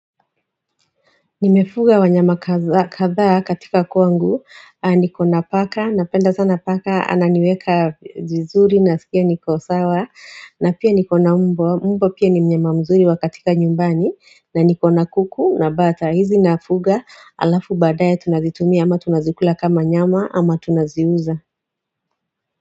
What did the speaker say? Nimefuga wanyama kadhaa katika kwangu, niko na paka, napenda sana paka, ananiweka vizuri na sikia niko sawa, na pia niko na umbwa, umbwa pia ni mnyama mzuri wa katika nyumbani, na niko na kuku, na bata, hizi nafuga alafu baadae tunazitumia, ama tunazikula kama nyama, ama tunaziuza.